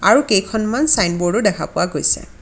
আৰু কেইখনমান চাইনবৰ্ড ও দেখা পোৱা গৈছে.